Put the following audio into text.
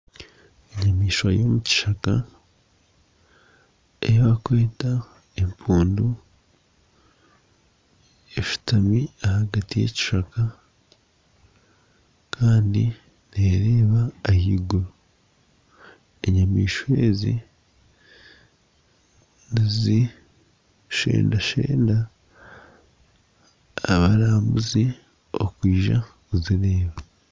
Enyamaishwa y'omu kishaka ei bakweta empundu eshutami ahagati y'ekishaka kandi neereba ahaiguru. Enyamaishwa ezi nizishendashenda abarambuzi kwija kuzireeba.